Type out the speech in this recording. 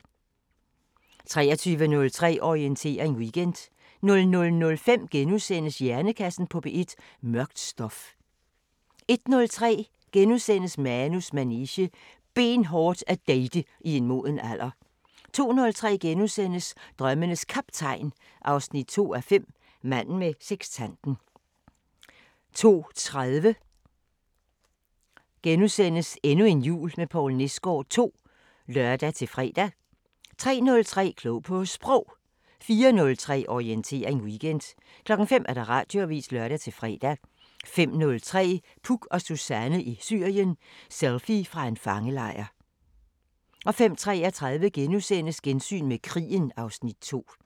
23:03: Orientering Weekend 00:05: Hjernekassen på P1: Mørkt stof * 01:03: Manus manege: Benhårdt at date i en moden alder * 02:03: Drømmenes Kaptajn 2:5 – Manden med sekstanten * 02:30: Endnu en jul med Poul Nesgaard II *(lør-fre) 03:03: Klog på Sprog 04:03: Orientering Weekend 05:00: Radioavisen (lør-fre) 05:03: Puk og Suzanne i Syrien: Selfie fra en fangelejr 05:33: Gensyn med krigen (Afs. 2)*